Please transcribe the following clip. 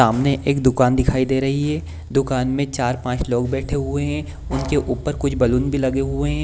सामने एक दूकान दिखाई दे रही है दूकान में चार-पांच लोग बैठे हुए हैं उनके ऊपर कुछ बैलून भी लगे हुए हैं।